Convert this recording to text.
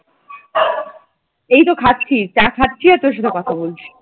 এইতো খাচ্ছি চা খাচ্ছি আর তোর সাথে কথা বলছি ।